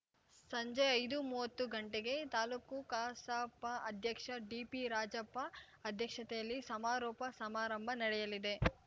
ಸಂಜೆ ಐದುಮುವತ್ತು ಗಂಟೆಗೆ ತಾಲೂಕು ಕಸಾಪ ಅಧ್ಯಕ್ಷ ಡಿಪಿ ರಾಜಪ್ಪ ಅಧ್ಯಕ್ಷತೆಯಲ್ಲಿ ಸಮಾರೋಪ ಸಮಾರಂಭ ನಡೆಯಲಿದೆ